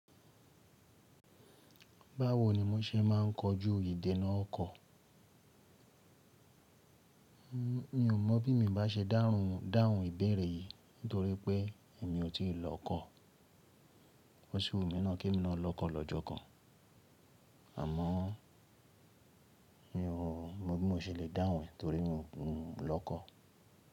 Báwoni mo ṣe máa ń kojú ìdènà ọkọ̀? Mi ò mọ̀ bí mo bá ṣe dáhùn dáhùn ìbéèrè yìí nítorí pé èmi ò tíì lọ́kọ̀. Ó ṣi wunmí ná kí emi na lọ́kọ̀ lọ́jọ́ kan àmọ́ mi ò mọ̀ bí mo ṣe le dáhùn e nítorí mi ò lọ́kọ̀.